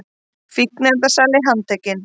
Fíkniefnasali handtekinn